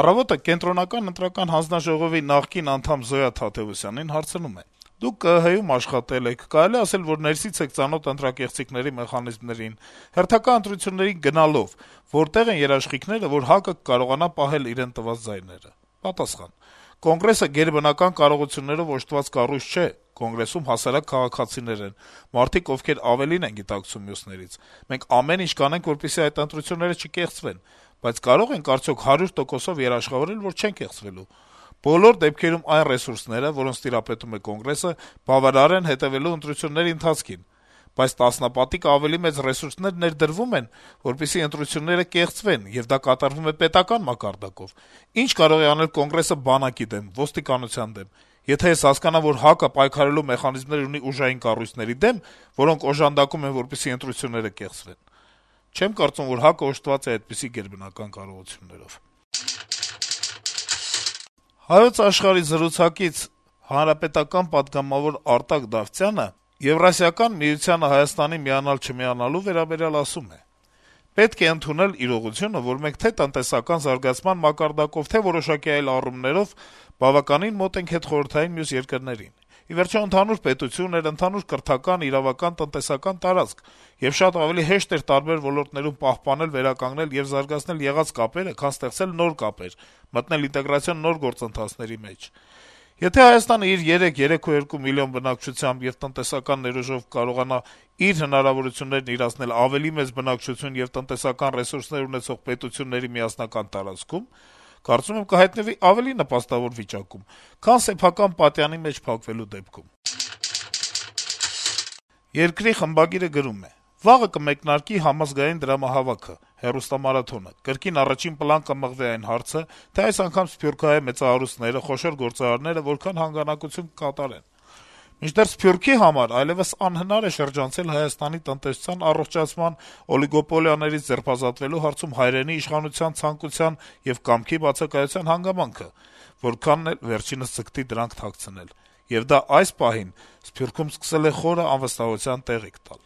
«Առավոտ»-ը Կենտրոնական ընտրական հանձնաժողովի նախկին անդամ Զոյա Թադեւոսյանին հարցնում է. - «Դուք ԿԸՀ-ում աշխատել եք, կարելի է ասել, որ ներսից եք ծանոթ ընտրակեղծիքների մեխանիզմներին: Հերթական ընտրությունների գնալով` որտե՞ղ են երաշխիքները, որ ՀԱԿ-ը կկարողանա պահել իրեն տրված ձայները»: Պատասխան. - «Կոնգրեսը գերբնական կարողություններով օժտված կառույց չէ: Կոնգրեսում հասարակ քաղաքացիներ են, մարդիկ, ովքեր ավելին են գիտակցում մյուսներից: Մենք ամեն ինչ կանենք, որպեսզի այդ ընտրությունները չկեղծվեն, բայց կարո՞ղ ենք, արդյոք, հարյուր տոկոսով երաշխավորել, որ չեն կեղծվելու: Բոլոր դեպքերում, այն ռեսուրսները, որոնց տիրապետում է Կոնգրեսը, բավարար են` հետեւելու ընտրությունների ընթացքին: Բայց տասնապատիկ ավելի մեծ ռեսուրսներ ներդրվում են, որպեսզի ընտրությունները կեղծվեն, եւ դա կատարվում է պետական մակարդակով: Ի՞նչ կարող է անել Կոնգրեսը բանակի դեմ, ոստիկանության դեմ: Եթե ես հասկանամ, որ ՀԱԿ-ը պայքարելու մեխանիզմներ ունի ուժային կառույցների դեմ, որոնք օժանդակում են, որպեսզի ընտրությունները կեղծվեն… չեմ կարծում, որ ՀԱԿ-ն օժտված է այդպիսի գերբնական կարողություններով»: Հանրապետական պատգամավոր Արտակ Դավթյանը «Հայոց Աշխարհ»-ի հարցազրույցում Եվրասիական միությանը Հայաստանի միանալ-չմիանալու վերաբերյալ ասում է. - «Պետք է ընդունել իրողությունը, որ մենք թե՛ տնտեսական զարգացման մակարդակով, թե՛ որոշակի այլ զարգացումների առումով, բավական մոտ ենք հետխորհրդային մյուս երկրներին։ Ի վերջո, ընդհանուր պետություն էր, ընդհանուր կրթական, իրավական, տնտեսական տարածք, եւ շատ ավելի հեշտ էր ամենատարբեր ոլորտներում պահպանել, վերականգնել եւ զարգացնել եղած կապերը, քան ստեղծել նոր կապեր, մտնել ինտեգրացիոն նոր գործընթացների մեջ։ Եթե Հայաստանը իր 3-3,2 միլիոն բնակչությամբ եւ տնտեսական ներուժով կարողանա իր հնարավորություններն իրացնել ավելի մեծ բնակչություն եւ տնտեսական ռեսուրսներ ունեցող պետությունների միասնական տարածքում, կարծում եմ, կհայտնվի ավելի նպաստավոր իրավիճակում, քան սեփական պատյանի մեջ փակվելու դեպքում»։ «Երկիր» թերթի խմբագիրը գրում է. - «Վաղը կմեկնարկի համազգային դրամահավաքը` հեռուստամարաթոնը: Կրկին առաջին պլան կմղվի այն հարցը, թե այս անգամ սփյուռքահայ մեծահարուստները, խոշոր գործարարները որքան հանգանակություն կկատարեն: Մինչդեռ Սփյուռքի համար այլեւս անհնար է շրջանցել Հայաստանի տնտեսության առողջացման, օլիգոպոլիաներից ձերբազատվելու հարցում հայրենի իշխանության ցանկության ու կամքի բացակայության հանգամանքը, որքան էլ վերջինիս ձգտի դրանք թաքցնել: Եվ դա այս պահին Սփյուռքում սկսել է խոր անվստահության տեղիք տալ: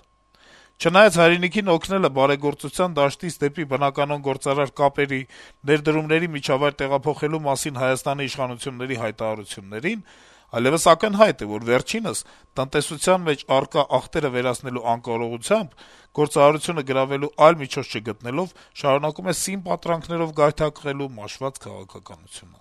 Չնայած հայրենիքին օգնելը բարեգործության դաշտից դեպի բնականոն գործարար կապերի, ներդրումների միջավայր տեղափոխելու մասին հայաստանյան իշխանությունների հայտարարություններին, այլեւս ակնհայտ է, որ վերջինս` տնտեսության մեջ առկա ախտերը վերացնելու անկարողությամբ, գործարարությունը գրավելու այլ միջոց չգտնելով` շարունակում է սին պատրանքներով գայթակղելու մաշված քաղաքականությունը»: